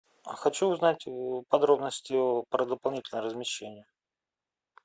хочу узнать подробности про дополнительное размещение